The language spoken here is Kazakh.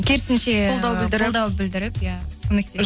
керісінше қолдау білдіріп иә көмекке